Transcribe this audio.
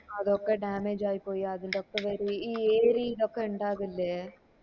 അതൊക്കെ damage ആയി പോയി അതിൻ്റെ ഒക്ക ഈ ഏരീ നൊക്കെ ഇണ്ടാവില്ലേ